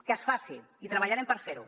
que es faci i treballarem per fer ho